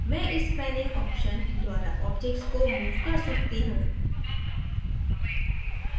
मैं इस panning option द्वारा object को move कर सकता हूँ